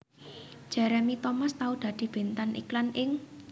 Jeremy Thomas tau dadi bintang iklan ing